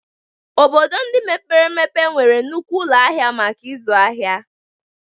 Obodo ndị mepere emepe nwere nnukwu ụlọ ahịa maka ịzụ ahịa